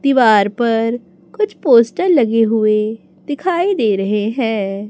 दीवार पर कुछ पोस्टर लगे हुए दिखाई दे रहे हैं।